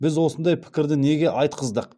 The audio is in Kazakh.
біз осындай пікірді неге айтқыздық